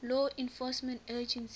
law enforcement agencies